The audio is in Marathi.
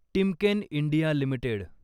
Timken India limited